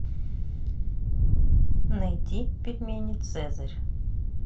найти пельмени цезарь